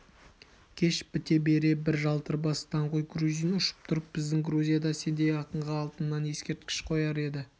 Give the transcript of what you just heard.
кеш біте бере бір жалтыр бас даңғой грузин ұшып тұрып біздің грузияда сендей ақынға алтыннан ескерткіш қояр еді